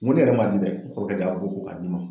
N go ne yɛrɛ ma di dɛ n kɔrɔkɛ de y'a bɔ ko ka di ma